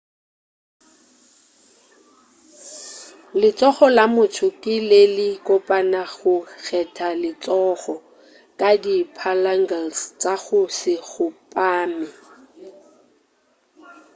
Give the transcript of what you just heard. letsogo la motho ke le le kopana go geta letsogo ka di phalanges tša go se kgopame